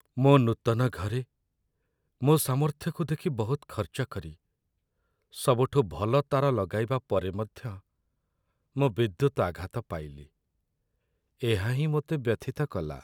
ମୋ ନୂତନ ଘରେ ମୋ ସାମର୍ଥ୍ୟକୁ ଦେଖି ବହୁତ ଖର୍ଚ୍ଚ କରି ସବୁଠୁ ଭଲ ତାର ଲଗାଇବା ପରେ ମଧ୍ୟ ମୁଁ ବିଦ୍ୟୁତ ଆଘାତ ପାଇଲି, ଏହା ହିଁ ମୋତେ ବ୍ୟଥିତ କଲା।